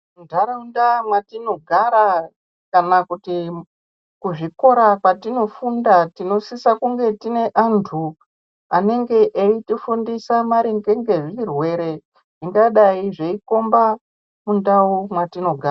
Muntaraunda mwetinogara kana kuti kuzvikora kwatinofunda, tinosisa kunge tine antu anotifundisa maringe nezvirwere zvingadei zveikomba mundau mwetinogara.